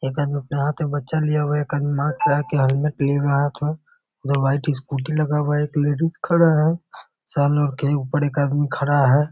एक आदमी अपने हाथ मे बच्चा लिया हुआ है एक आदमी के हेलमेट लिए हुआ है हाथ में दो वाइट स्कूटी लगा हुआ है एक लेडीज खड़ा है सैलून के ऊपर एक आदमी खड़ा है।